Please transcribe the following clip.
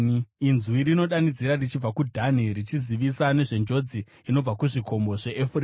Inzwi rinodanidzira richibva kuDhani, richizivisa nezvenjodzi inobva kuzvikomo zveEfuremu.